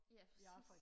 ja præcis